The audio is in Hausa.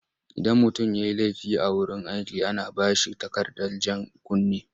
Idan mutum ya yi laifi a wurin aiki ana ba shi takardar jan kunne,